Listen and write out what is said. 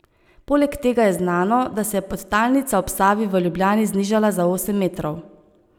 Poleg tega je znano, da se je podtalnica ob Savi v Ljubljani znižala za osem metrov.